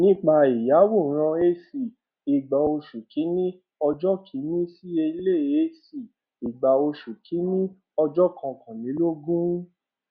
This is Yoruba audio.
nípa ìyàwòrán ac igba oṣù kìíní ọjọ kìíní sí èlé ac igba oṣù kìíní ọjọ kọkànlélọgbọn